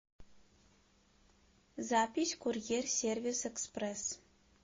запись курьер сервис экспресс